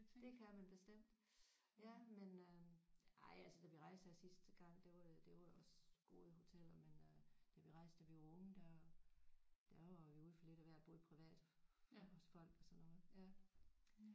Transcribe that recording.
Det kan man bestemt ja men øh ej altså da vi rejste her sidste gang det var det det var jo også gode hoteller men øh da vi rejste da vi var unge der der var vi ude for lidt af hvert både privat også folk og sådan noget